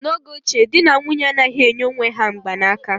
N'oge ochie, di na nwunye anaghị enye onwe ha mgbanaka